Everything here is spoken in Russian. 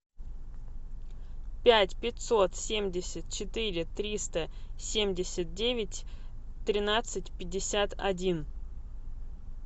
пять пятьсот семьдесят четыре триста семьдесят девять тринадцать пятьдесят один